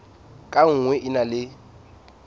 ka nngwe e na le